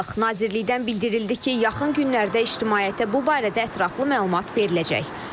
Nazirlikdən bildirildi ki, yaxın günlərdə ictimaiyyətə bu barədə ətraflı məlumat veriləcək.